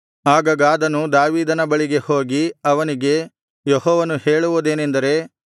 ಆಗ ಗಾದನು ದಾವೀದನ ಬಳಿಗೆ ಹೋಗಿ ಅವನಿಗೆ ಯೆಹೋವನು ಹೇಳುವುದೇನೆಂದರೆ